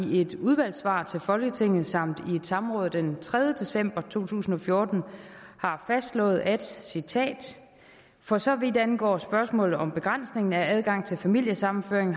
i et udvalgssvar til folketinget samt i et samråd den tredje december to tusind og fjorten har fastslået at citat for så vidt angår spørgsmålet om begrænsningen af adgangen til familiesammenføring